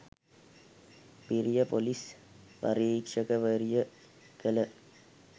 බිරිය ‍police පරීක්ෂකවරිය කළ